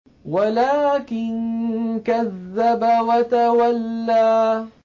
وَلَٰكِن كَذَّبَ وَتَوَلَّىٰ